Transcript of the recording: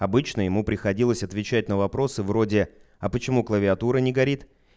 обычно ему приходилось отвечать на вопросы вроде а почему клавиатура не горит